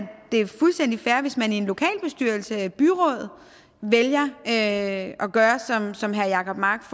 det er fuldstændig fair hvis man i en lokalbestyrelse eller et byråd vælger at gøre som herre jacob mark